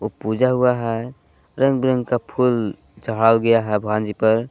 पूजा हुआ है रंग बिरंग का फूल चढ़ा गया है भगवान जी पर।